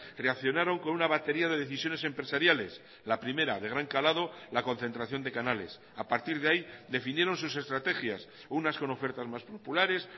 reaccionaron con una batería de decisiones empresariales la primera de gran calado la concentración de canales a partir de ahí definieron sus estrategias unas con ofertas más populares